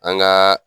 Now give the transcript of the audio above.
An gaa